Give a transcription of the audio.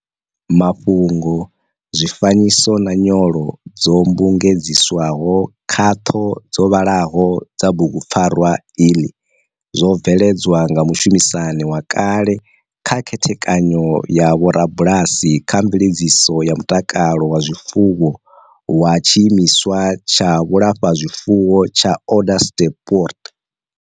Mafhungo, zwifanyiso na nyolo dzo mmbugedziswaho khaṱho dzo vhaḽaho dza bugupfarwa iḽi zwo veledzwa nga mushumisani wa kale kha khethekanyo ya vho rabalasi kha mveledziso ya mutakalo wa zwifuwo wa tshimiswa tsha vhulafhazwifuwo tsha Onderstepoort.